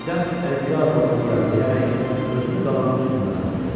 Və birdən “Əlvida doğma diyar” deyərək özünü qalanın üstündən atdı.